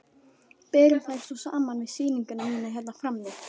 Berum þær svo saman við sýninguna mína hérna frammi.